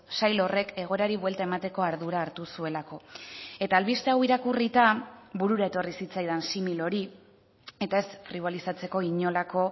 sail horrek egoerari buelta emateko ardura hartu zuelako eta albiste hau irakurrita burura etorri zitzaidan simil hori eta ez fribolizatzeko inolako